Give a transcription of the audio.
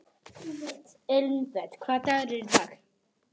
Elínbet, hvaða dagur er í dag?